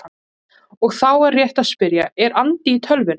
Og þá er rétt að spyrja: Er andi í tölvunni?